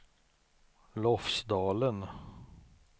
Lofsdalen